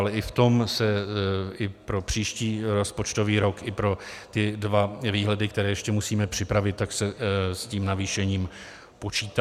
Ale i v tom se i pro příští rozpočtový rok i pro ty dva výhledy, které ještě musíme připravit, tak se s tím navýšením počítá.